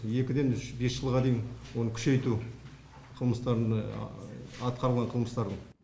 екіден үш бес жылға дейін оны күшейту қылмыстарын атқарылған қылмыстар